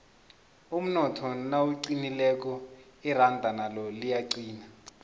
umnotho nawuqinileko iranda nalo liyaqina